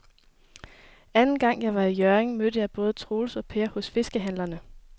Anden gang jeg var i Hjørring, mødte jeg både Troels og Per hos fiskehandlerne.